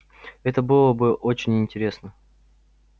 это было бы очень интересно